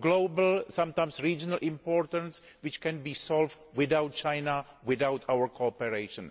global, sometimes regional, importance which can be solved without China, without our cooperation.